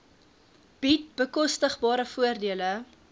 bied bekostigbare voordele